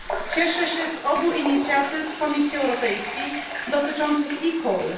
Cieszę się z obu inicjatyw Komisji Europejskiej dotyczących e call.